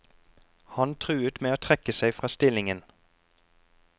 Han truet med å trekke seg fra stillingen.